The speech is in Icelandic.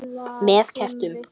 Með kertum?